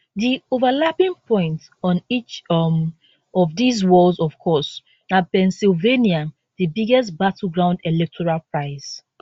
di overlapping point on each um of dis walls of course na pennsylvania di biggest battleground electoral prize